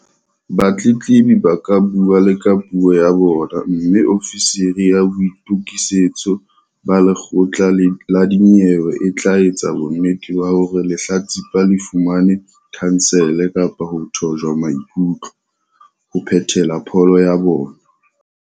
Batletlebi ba ka bua le ka puo ya bona mme ofisiri ya boitokisetso ba lekgotla la dinyewe e tla etsa bonnete ba hore lehlatsipa le fumane khansele kapa ho thojwa maikutlo, ho phethela pholo ya bona.